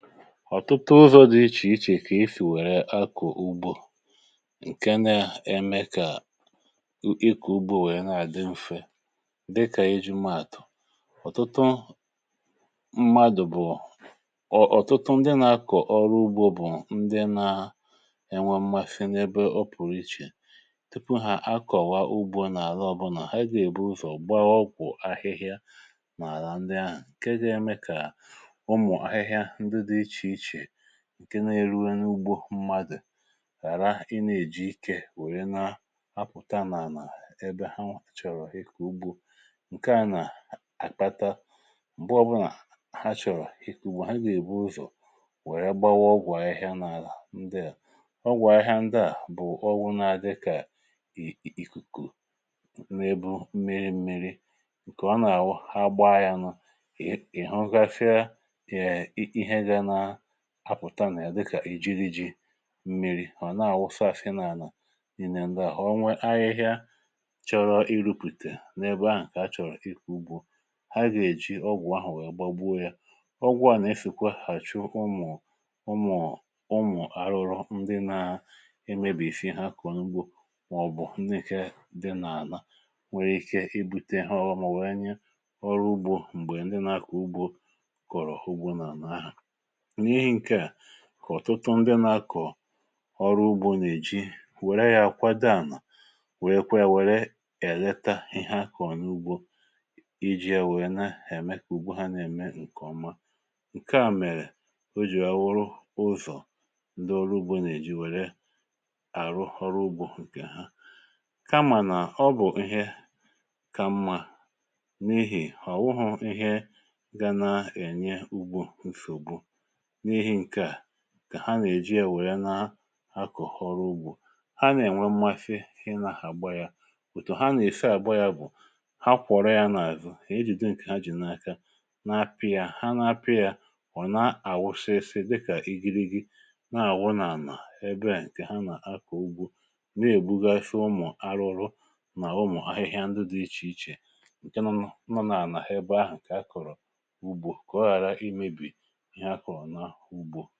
Ọ̀tụtụ ụzọ̇ dị iche iche kà e si wèrè akọ̀ ugbò, nke na-eme kà ịkọ̀ ugbò nwee na-àdị mfe, dịkà iji mátụ̀ um Ọ̀tụtụ mmadụ̀, bụ̀ ọ̀tụtụ ndị nà-akọ̀ ọrụ ugbò, bụ̀ ndị na-enwe m̀mafị n’ebe ọ pụ̀rụ iche, tupu ha akọ̀wa ugbò. Nà-àra, ọbụnà ha gà-èburu sọ̀ gbaa, wọọkwụ ahịhịa nà-àra ndị ahụ̀, nke ga-eme kà nke na-eruo n’ugbò mmadụ̀ ghàra ịtọ̀pụ̀. Ị nà-èji ike wèrè na ha pụ̀tanà nà ebe ha nwàchọrọ ịkà ugbò. Nke à nà-àkpata, um mgbe ọbụnà ha chọ̀rọ̀ ịkà ùgbò, ha gà-èbu ụzọ̀ wèrè gbawa ọgwụ̀ ahịhịa n’adà ndị à. Ọgwụ̀ ahịhịa ndị à bụ̀ ọgwụ̀ na-adịkà ìkùkù nà-ebù mmiri, nke ọ nà-àwụ ha gbaa,... ya nụ pụ̀ta nà ya, dịkà iji mmiri̇ hà na-àwụsa àsị n’anà, n’ìnẹ ndị ahụ̀ onwe ahịhịa chọrọ iru̇pùtè n’ebe ahụ̀. Kà a chọ̀rọ̀ ịkà ugbò, ha gà-èji ọgwụ̀ ahụ̀ wee gbagwo ya. Ọgwụ à nà-efịkwa hàchụ ụmụ̀ àrụrụ um ndị na-emeghị ihe ọma, ndị na-emebì ihe ya kà ọ n’ugbò, màọ̀bụ̀ ndị eke dị n’ànà, nwere ike ibùte ha ọrịa ma ọ bụ mebie ihe. Ọgwụ̀ mà wee nye ọrụ ugbò ohere. M̀gbè ndị nà-akà ugbò kọ̀rọ̀ ugbò n’àlà ahụ̀, ọ̀tụtụ nà-akọ̀ ọrụ ugbò nà-èji ya kwado àmà, wèrè kwere, wèrè èleta ihe akọ̀ n’ugbò iji wèe na-èmē kà ugbò ha nà-èrụ ọrụ nke ọma... Nke à mere o jì bụrụ ihe ọzọ, ndị ọrụ ugbò nà-èji wèrè àrụ ọrụ ugbò nke ha. Kamà ọ bụ̀ ihe kà mma um n’ihi nà ọ̀ bụ̀ ihe na-ènye ugbò nfè, n’ihi nke à kà ha nà-èji ya. Nwèrè na-akọ̀, họrọ ugbò ha, nà-ènwe mmasị inahà gba ya ùtù. Ha nà-èfe àgba ya gbụ̀, ha kwọ̀rọ ya n’àzụ, ejìdị nke ha jì n’aka. Ha na-apị̇ ya, ha na-apị̇ ya wụ̀, um na-àwụsịsị dịkà ịgìrì, dịkà gi na-àwụ n’ànà ebe ahụ̀. Ụ̀dị ahụ̀ nke ha nà-akọ̀ ugbò, na-èbugasị ụmụ̀ arụ̇rụ nà ụmụ̀ ahịhịa ndị dị iche iche nke nọ̇nọ̇ nà-ànà ha ebe ahụ̀, nke ha kọ̀rọ̀ ugbò kà ọ ghàra imebì ugbò.